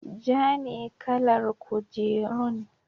Ja ne kalar kujerun.